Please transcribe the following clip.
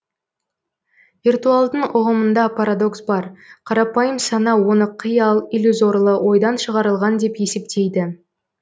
виртуалдың ұғымында парадокс бар қарапайым сана оны қиял иллюзорлы ойдан шығарылған деп есептейді